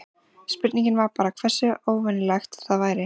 Spurningin var bara hversu óvenjulegt það væri.